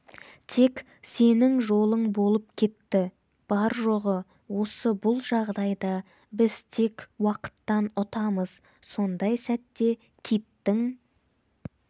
тек сенің жолың болып кетті бар-жоғы осы бұл жағдайда біз тек уақыттан ұтамыз сондай сәтте киттің